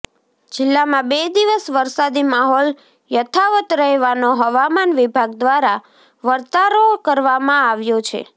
જિલ્લામાં બે દિવસ વરસાદી માહોલ યથાવત રહેવાનો હવામાન વિભાગ દ્વારા વર્તારો કરવામાં આવ્યો છે